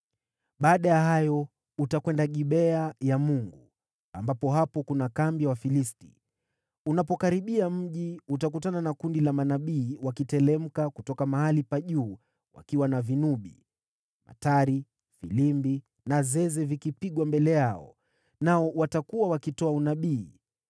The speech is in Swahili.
“Baada ya hayo utakwenda Gibea ya Mungu, ambapo hapo kuna kambi ya Wafilisti. Unapokaribia mji utakutana na kundi la manabii wakiteremka kutoka mahali pa juu wakiwa na vinubi, matari, filimbi na zeze vikipigwa mbele yao, nao watakuwa wakitoa unabii.